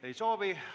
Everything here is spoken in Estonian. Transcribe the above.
Ei soovi.